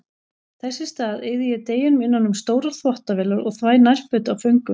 Þess í stað eyði ég deginum innan um stórar þvottavélar og þvæ nærföt af föngum.